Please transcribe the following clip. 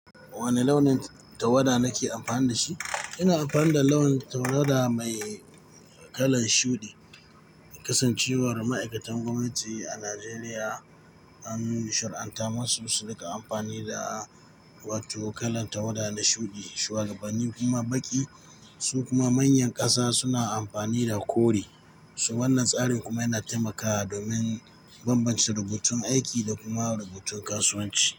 Wane launin tawada nake amfani da shi? Ina amfani da launin tawada mai kalan shuɗi. Kasancewar ma'aikatan gwamnati a Najeriya an shar'anta masu su riƙa amfani da watu kalan tawada na shuɗi, shuwagabanni kuma baƙi, su kuma manyan ƙasa suna amfani da kore. Wannan tsarin kuma yana taimakawa domin bambance rubutun aiki da kuma rubutun kasuwanci.